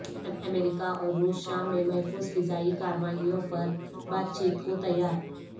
امریکہ اور روس شام میں محفوظ فضائی کارروائیوں پر بات چیت کو تیار